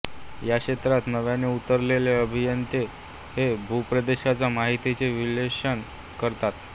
या क्षेत्रात नव्याने उतरलेले अभियंते हे भूप्रदेशाच्या माहितीचे विश्लेषण करतात